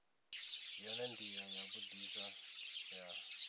yone ndila ya vhudisa ya